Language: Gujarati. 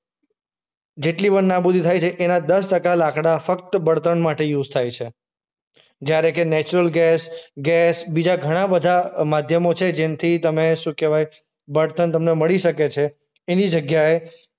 જેટલી પણ નાબૂદી થાય છે એના દસ ટકા લાકડા ફક્ત બણતણ માટે યુઝ થાય છે. જ્યારે કે નેચરલ ગેસ, ગેસ બીજા ઘણા બધા અ માધ્યમો છે જેનથી તમે શું કહેવાય? બણતણ તમને મળી શકે છે એની જગ્યાએ